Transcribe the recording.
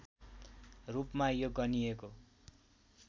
रूपमा यो गनिएको